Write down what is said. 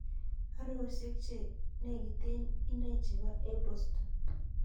Aroosyek che nekiten inei chebo apple store